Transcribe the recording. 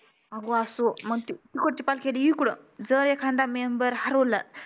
आग असं मंग ती इकुडची पालखी अली इकडं जर एखादा member हरवला